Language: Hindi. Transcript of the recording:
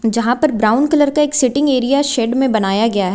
जहां पर ब्राउन कलर का एक सीटिंग एरिया शेड में बनाया गया है।